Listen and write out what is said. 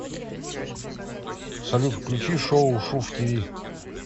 салют включи шоу шув ти ви